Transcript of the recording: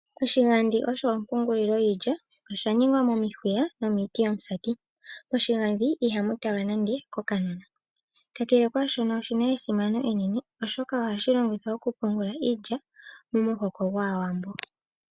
Oshigadhi osho ompungulilo yiilya osha ningwa momihuya nomiiti yomusati. Moshigadhi ihamu talwa nande kokanona. Kakele kwaashono oshina esimano enene oshoka ohashi longithwa okupungula iilya momuhoko gwAawambo.